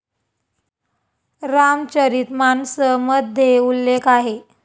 रामचरित मानस मध्ये उल्लेख आहे.